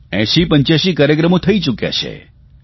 8085 કાર્યક્રમો થઇ ચૂક્યા છે